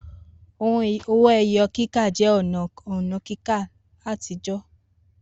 Owó ẹyọ kíkà jẹ́ ọ̀nà òǹkà kíkà àtijọ́